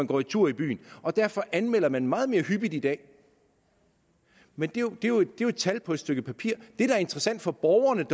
går en tur i byen derfor anmelder man meget mere hyppigt i dag men det er jo et tal på et stykke papir det der er interessant for borgerne